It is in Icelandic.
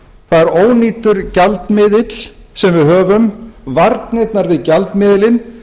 það er ónýtur gjaldmiðill sem við höfum varnirnar við gjaldmiðilinn